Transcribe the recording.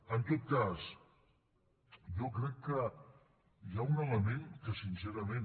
en tot cas jo crec que hi ha un element que sincerament